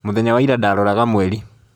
Mũthenya wa ira, ndaaroraga mweri.